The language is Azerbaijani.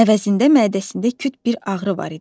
Əvəzində mədəsində küt bir ağrı var idi.